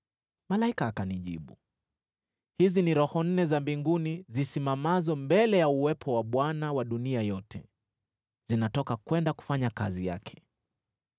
Malaika akanijibu, “Hizi ni roho nne za mbinguni zisimamazo mbele ya uwepo wa Bwana wa dunia yote, zinatoka kwenda kufanya kazi yake.